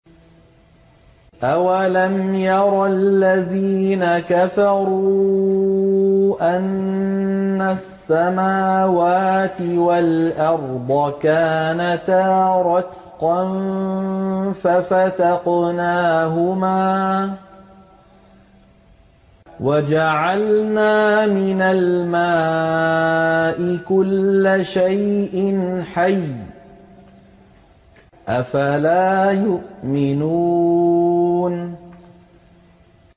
أَوَلَمْ يَرَ الَّذِينَ كَفَرُوا أَنَّ السَّمَاوَاتِ وَالْأَرْضَ كَانَتَا رَتْقًا فَفَتَقْنَاهُمَا ۖ وَجَعَلْنَا مِنَ الْمَاءِ كُلَّ شَيْءٍ حَيٍّ ۖ أَفَلَا يُؤْمِنُونَ